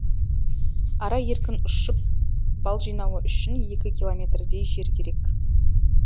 ара еркін ұшып бал жинауы үшін екі километрдей жер керек